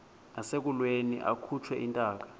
nasekulweni akhutshwe intaka